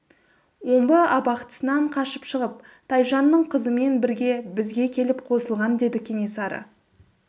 омбы абақтысынан қашып шығып тайжанның қызымен бірге бізге келіп қосылған деді кенесары